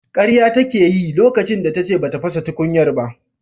Karya take yi lokacin da tace bata fasa tukunyar ba.